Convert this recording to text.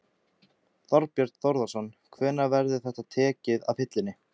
Þorbjörn Þórðarson: Hvenær verður þetta tekið af hillunni?